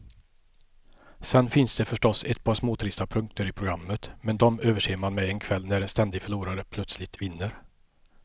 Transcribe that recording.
Sen finns det förstås ett par småtrista punkter i programmet, men de överser man med en kväll när en ständig förlorare plötsligt vinner.